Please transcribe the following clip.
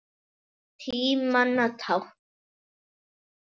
Tímanna tákn?